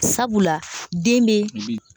Sabula den bɛ